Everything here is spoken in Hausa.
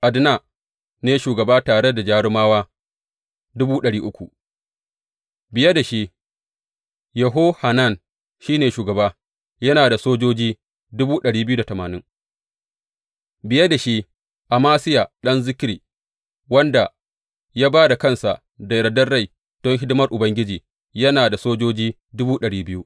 Adna ne shugaba, tare da jarumawa biye da shi, Yehohanan shi ne shugaba, yana da sojoji biye da shi, Amasiya ɗan Zikri, wanda ya ba da kansa da yardar rai don hidimar Ubangiji, yana da sojoji